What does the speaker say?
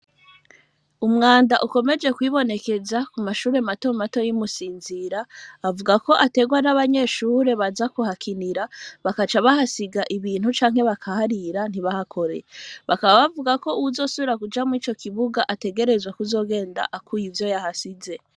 Umwanda, ukomeje kwibonekeza, ku mashure mato mato, y’i Musinzira, bavuga ko, uterwa n’abanyeshure, baza kuhakinira; bakaca, bahasiga ibintu, canke bakaharira, ntibahakore; bakaba, bavuga ko, uwuzosubira kuja mw'ico kibuga, azogenda, akuye ivyo yahashize.